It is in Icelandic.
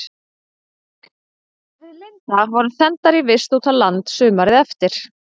Við Linda vorum sendar í vist út á land sumarið eftir.